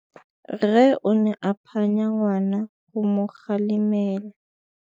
Rre o ne a phanya ngwana go mo galemela.